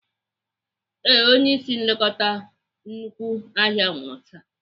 Ee, Onye ịsị nlekọta nnukwu ahịa nwụrụ taa.